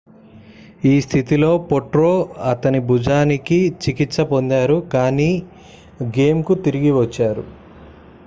ఈ స్థితిలో potro అతని భుజానికి చికిత్స పొందారు కాని గేమ్కు తిరిగి వచ్చారు